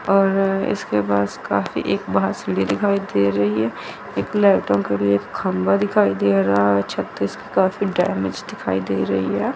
और इसके पास काफी एक बाहर सीढ़ी दिखाई दे रही है एक लाईटों का भी एक खंभा दिखाई दे रहा है छत इसकी काफी डैमेज दिखाई दे रही है।